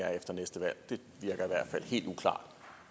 er efter næste valg det virker i hvert fald helt uklart